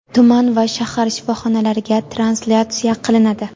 tuman va shahar shifoxonalariga translyatsiya qilinadi.